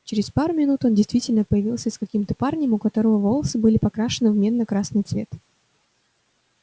через пару минут он действительно появился с каким-то парнем у которого волосы были покрашены в медно-красный цвет